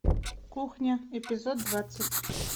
кухня эпизод двадцать